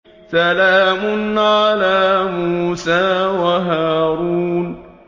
سَلَامٌ عَلَىٰ مُوسَىٰ وَهَارُونَ